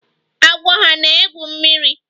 Agwọ hà na-egwu mmiri?